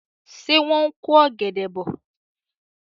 Ṣé wọ́n ń ko ọ̀gẹ̀dẹ̀ bọ̀?